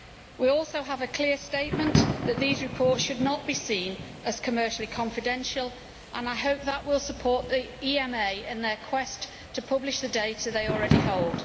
We also have a clear statement that these reports should not be seen as commercially confidential and I hope that will support the EMA in their quest to publish the data they already hold.